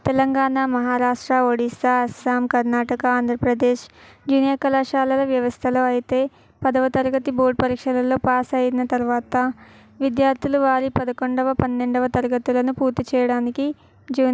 Telangana Maharashtra Odisha Assam Karnataka Andhra Pradesh junior కళాశాలల వ్యవస్థలొ అయితే పదవ తరగతి బోర్డు పరీక్షలలో పాస్ అయినా తరువాత విద్యార్థులు వారి పదకొండవ పన్నెండవ తరగతులను పూర్తిచేయటానికి--